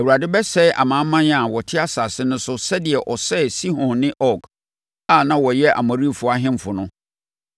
Awurade bɛsɛe amanaman a wɔte asase no so no sɛdeɛ ɔsɛee Sihon ne Og a na wɔyɛ Amorifoɔ ahemfo no.